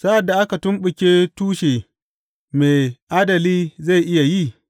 Sa’ad da aka tumɓuke tushe, me adali zai iya yi?